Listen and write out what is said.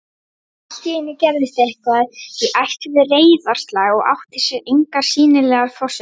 En alltíeinu gerðist eitthvað í ætt við reiðarslag og átti sér engar sýnilegar forsendur